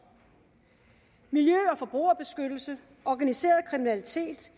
miljø og forbrugerbeskyttelse organiseret kriminalitet